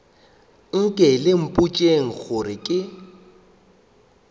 anke le mpotšeng gore ke